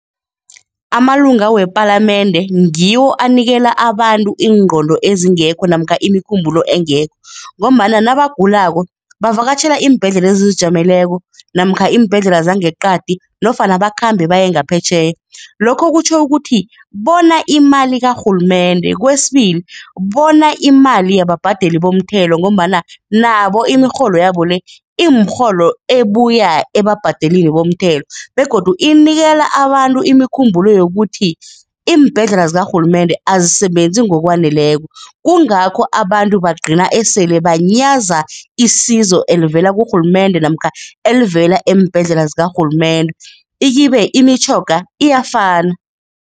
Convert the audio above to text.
Amalunga wepalamende ngiwo anikela abantu iingqondo ezingekho namkha imikhumbulo engekho ngombana nabagulako bavakatjhela iimbhedlela ezizijameleko namkha iimbhedlela zangeqadi nofana bakhambe baye ngaphetjheya. Lokho kutjho ukuthi bona imali karhulumende, kwesibili, bona imali yababhadeli bomthelo ngombana nabo imirholo yabo le, imirholo ebuya ebabhadelini bomthelo begodu inikela abantu imikhumbulo yokuthi iimbhedlela zikarhulumende azisebenzi ngokwaneleko. Kungakho abantu bagcina esele banyaza isizo elivela kurhulumende namkha elivela eembhedlela zikarhulumende, ikhibe imitjhoga iyafana.